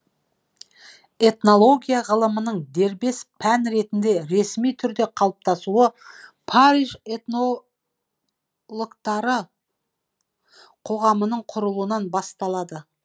этнология ғылымының дербес пән ретінде ресми түрде қалыптасуы париж этнологтары қоғамының құрылуынан басталады